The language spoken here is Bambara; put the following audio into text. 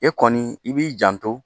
E kɔni i b'i janto